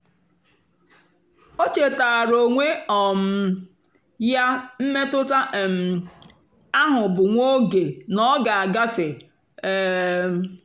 ó chétáárá ónwé um yá mmétụ́tà um áhụ̀ bụ́ nwá óge nà ọ́ gà-àgáfé. um